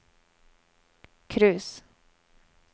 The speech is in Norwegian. cruise